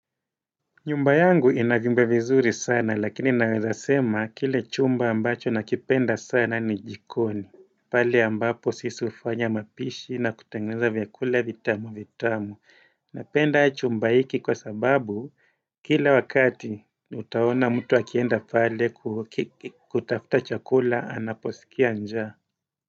Nyumba yangu inavyumba vizuri sana lakini naweza sema kile chumba ambacho nakipenda sana ni jikoni. Pahali ambapo sisi hufanya mapishi na kutengeneza vyakula vitamu vitamu. Napenda chumba hiki kwa sababu kila wakati utaona mtu akienda pale kutafuta chakula anaposikia njaa.